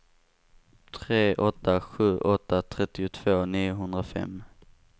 tre åtta sju åtta trettiotvå niohundrafem